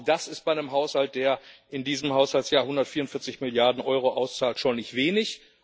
Auch das ist bei einem Haushalt, der in diesem Haushaltsjahr 144 Milliarden Euro auszahlt, schon nicht wenig.